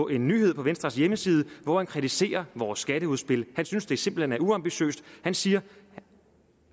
en nyhed på venstres hjemmeside hvor han kritiserer vores skatteudspil han synes det simpelt hen er uambitiøst og han siger